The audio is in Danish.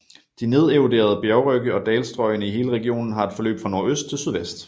De nederoderede bjergrygge og dalstrøgene i hele regionen har et forløb fra nordøst til sydvest